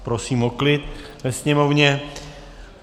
Prosím o klid ve sněmovně!